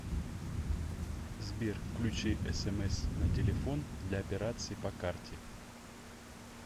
сбер включи смс на телефон для операций по карте